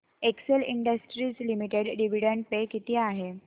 Excel Industries Limited dividend pay किती आहे